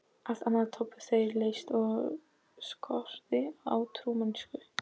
Allt annað töldu þeir leti og skort á trúmennsku.